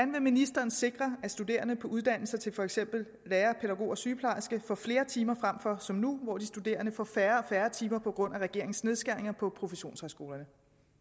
vil ministeren sikre at studerende på uddannelser til for eksempel lærer pædagog og sygeplejerske får flere timer frem for som nu hvor de studerende får færre og færre timer på grund af regeringens nedskæringer på professionshøjskolerne